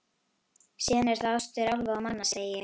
Síðan eru það ástir álfa og manna, segi ég.